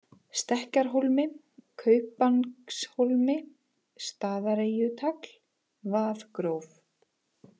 Stekkjarhólmi, Kaupangshólmi, Staðareyjutagl, Vaðgróf